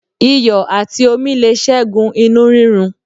Iyò àti omi le ségun inú rírun